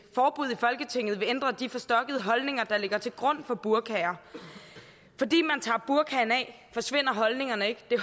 forbud i folketinget vil ændre de forstokkede holdninger der ligger til grund for burkaer fordi man tager burkaen af forsvinder holdningerne ikke det